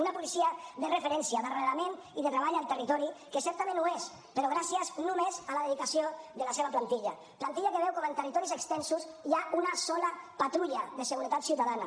una policia de referència d’arrelament i de treball al territori que certament ho és però gràcies només a la dedicació de la seva plantilla plantilla que veu com en territoris extensos hi ha una sola patrulla de seguretat ciutadana